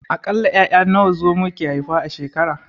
A ƙalla 'ya'ya nawa Zomo ke iya haifa a shekara?